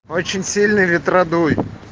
очень сильный ветродуй